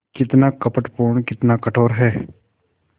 कितना कपटपूर्ण कितना कठोर है